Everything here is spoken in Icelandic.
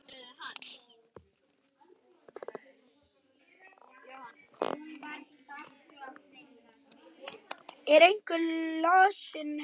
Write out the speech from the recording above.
Er einhver lasinn heima?